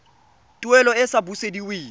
tuelo e e sa busediweng